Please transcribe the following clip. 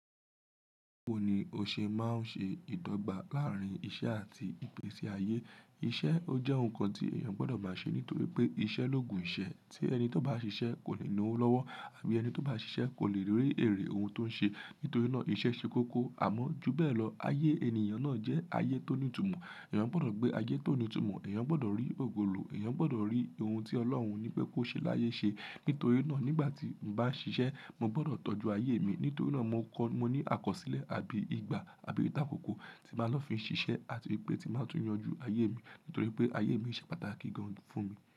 Báwo ni o ṣe máa ń ṣe ìdọ́gba láàárín iṣẹ́ àti ìpèsáyé? Iṣẹ́ ó jẹ́ ohun kan tí èèyàn gbọdọ̀ máa ṣe nítorí pé iṣẹ́ ló gùn iṣẹ́, tí ẹni tó bá ṣiṣẹ́ kò lè lo ọ́ lọ́wọ́ àbí ẹni tó bá ṣiṣẹ́ kò lè rí èrè ohun tó ń ṣe. Nítorí náà iṣẹ́ ṣe kókó. Àmọ́ júbẹ̀ lọ, ayé ènìyàn náà jẹ́ ayé tó ní ìtumọ̀. Ẹ̀yàn gbọdọ̀ gbé ayé tó ní ìtumọ̀, ẹ̀yàn gbọdọ̀ rí ògùlò, ẹ̀yàn gbọdọ̀ rí ohun tí Ọlọ́run ní pé kó ṣe láyé ṣe. Nítorí náà nígbà tí n bá ń ṣiṣẹ́, mo gbọdọ̀ tọ́jú ayé mi. Nítorí náà mo kọ́, mo ní àkọsílẹ̀ àbí igba àbí ìtàkùkọ̀ tí máa lọ fi ń ṣiṣẹ́ àti wípé tí màá tún yanjú ayé mi. Nítorí pé ayé mi ṣe pàtàkì gan fún mi.